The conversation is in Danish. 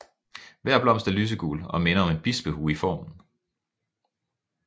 Hver blomst er lysegul og minder om en bispehue i formen